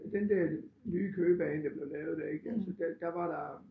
Den der nye Køge bane der blev lavet der ik altså der var der